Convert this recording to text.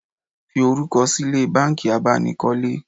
Fi orúkọ sílẹ̀ banki abánikọ́lé